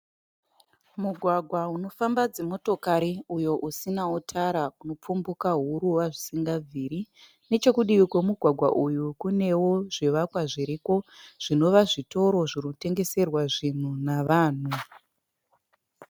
Mugwagwa unofamba dzimotokari uyo usinawo tara unopfumbuka huruva zvisingabviri. Nechokudivi kwamugwagwa kunewo zvivakwa zviriko zvinova zvitoro zvinotengeserwa zvinhu navanu.